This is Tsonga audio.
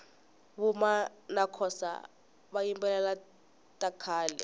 vuma nakhosa vayimbelela takhale